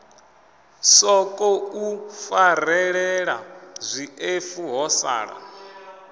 sokou farelela zwiṱefu ho sala